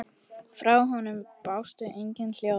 Frá honum bárust engin hljóð.